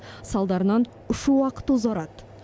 салдарынан ұшу уақыты ұзарады